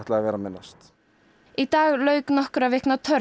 að vera með næst í dag lauk nokkurra vikna törn